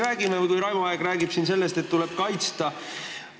Raivo Aeg rääkis siin sellest, et inimesi tuleb kaitsta.